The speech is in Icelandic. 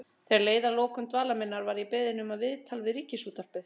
Þegar leið að lokum dvalar minnar var ég beðin um viðtal við Ríkisútvarpið.